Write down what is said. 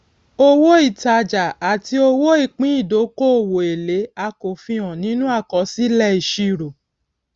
owó ìtajà àti owó ìpín ìdókòwò èlé a kò fi hàn nínú àkọsílẹìṣirò